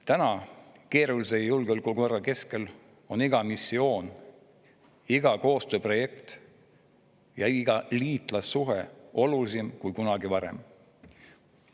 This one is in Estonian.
Täna, keerulises julgeolekukorras, on iga missioon, iga koostööprojekt ja iga liitlassuhe olulisem kui kunagi varem.